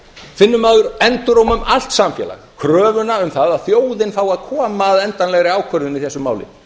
finnur maður enduróma um allt samfélag kröfuna um það að þjóðin fái að koma að endanlegri ákvörðun í þessu máli